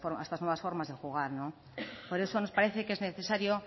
a estas nuevas formas de jugar por eso nos parece que es necesario